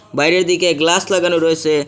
বাইরের দিকে গ্লাস লাগানো রয়েসে।